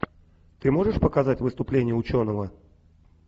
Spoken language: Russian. ты можешь показать выступление ученого